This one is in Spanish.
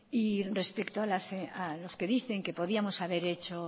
y respecto a los que dicen que podíamos haber hecho